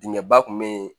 Dingɛ ba kun be yen